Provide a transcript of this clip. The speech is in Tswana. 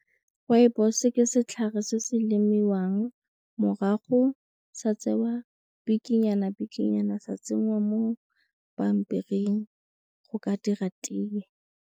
Rooibos ke setlhare se se lemiwang morago sa tsewa bikinyana bikinyana sa tsenngwa mo pampiring go ka dira tee.